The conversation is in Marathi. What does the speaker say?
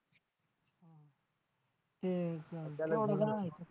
ते